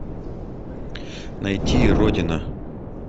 найти родина